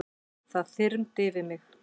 Það þyrmdi yfir mig.